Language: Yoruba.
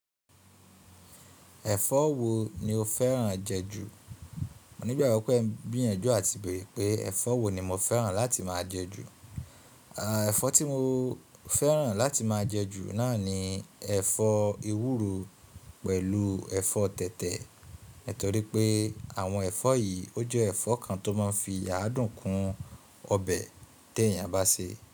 Ẹ̀fọ́ wo ni o fẹ́ràn jẹ ju? Mò nígbàgbọ́ pé ń gbìyànjú àti bèrè pé ẹ̀fọ́ wo ni mo fẹ́ràn láti máa jẹ ju. Ẹ̀fọ́ tí mo fẹ́ràn láti máa jẹ ju náà ni ẹ̀fọ́ ewúro pẹ̀lú ẹ̀fọ́ tẹ̀tẹ̀. Nítorí pé àwọn ẹ̀fọ́ yìí ó jẹ́ ẹ̀fọ́ kan tó máa ń fi adùn kún ọbẹ̀ tí èèyàn bá sè.